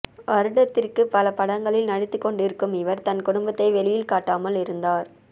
வருடத்திற்கு பல படங்களில் நடித்துக்கொண்டிருக்கும் இவர் தன்குடும்பத்தை வெளியில் காட்டாமல் இருந்தார்